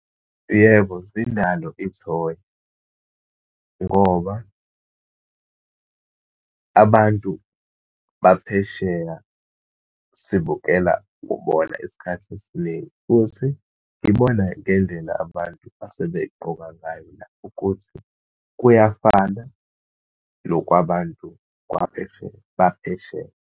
Yebo, zinalo ithonya, ngoba abantu baphesheya sibukela kubona isikhathi esiningi. Futhi ngibona ngendlela abantu asebegqoka ngayo la, ukuthi kuyafana nokwabantu kwaphesheya, baphesheya.